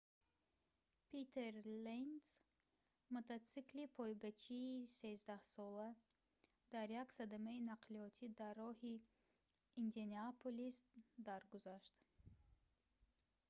питер ленц мотосиклисти пойгачии13-сола дар як садамаи нақлиётӣ дар роҳи индианаполис даргузашт